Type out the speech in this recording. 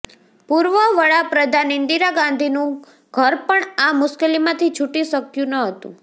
પૂર્વ વડાંપ્રધાન ઇન્દિરા ગાંધીનું ઘર પણ આ મુશ્કેલીમાંથી છુટી શક્યું ન હતું